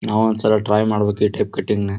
ನಾವು ಒಂದಸಲ ಟ್ರೈ ಮಾಡಬೇಕು ಈ ಟೈಪ್ ಕಟಿಂಗ್ನ --